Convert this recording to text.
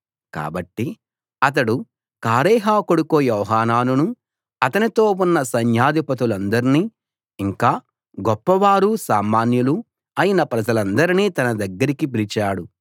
కాబట్టి అతడు కారేహ కొడుకు యోహానానునూ అతనితో ఉన్న సైన్యాధిపతులందర్నీ ఇంకా గొప్పవారూ సామాన్యులూ అయిన ప్రజలందర్నీ తన దగ్గరికి పిలిచాడు